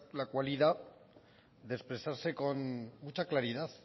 la cualidad de expresarse con mucha claridad